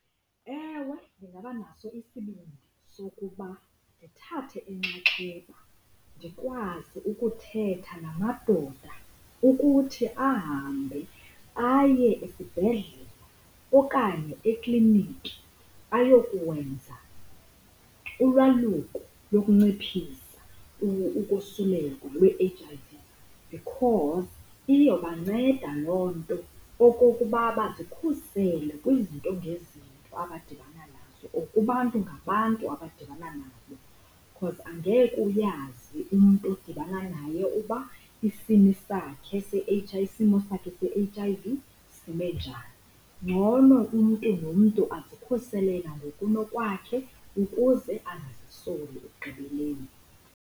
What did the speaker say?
Ewe, ndingaba naso isibindi sokuba ndithathe enxaxheba ndikwazi ukuthetha namadoda ukuthi ahambe aye esibhedlele okanye ekliniki ayokwenza ulwaluko lokunciphisa ukosulelwa lwe-H_I_V because iyobanceda loo nto okokuba bazikhusele kwizinto ngezinto abadibana nazo or kubantu ngabantu abadibana nabo. Cause angeke uyazi umntu odibana naye uba isini sakhe isimo sakhe se-H_I_V sime njani. Ngcono umntu nomntu azikhusele nangokunokwakhe ukuze angazisoli ekugqibeleni.